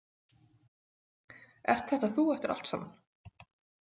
Ert þetta þú eftir allt saman?